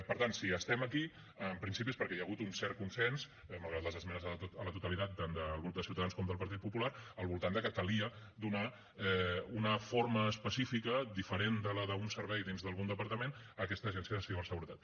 per tant si estem aquí en principi és perquè hi ha hagut un cert consens malgrat les esmenes a la totalitat tant del grup de ciutadans com del partit popular al voltant de que calia donar una forma específica diferent de la d’un servei dins d’algun departament a aquesta agència de ciberseguretat